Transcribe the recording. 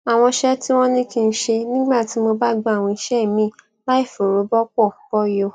àwọn iṣé tí wón ní kí n ṣe nígbà tí mo bá gba àwọn iṣé míì láìfòrò bọpo bọyò